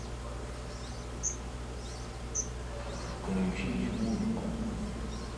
включить музыку